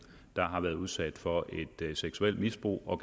der har været udsat for et seksuelt misbrug og